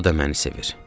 O da məni sevir.